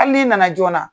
Hali n'i nana joona